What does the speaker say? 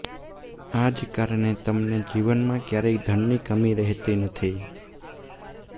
આજ કારણે તમને જીવનમાં ક્યારેય ધનની કમી રહેતી નથી